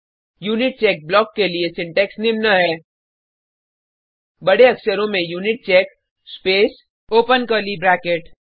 unitcheck block लिए syntax निम्न है बडे अक्षरों में Unicheck space open curly bracket